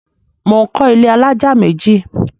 Mò ń kọ́ ilé alájà méjì.